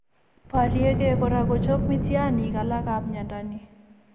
Borieke kora ko chop miitiyaaniinik alakap mnyando ni.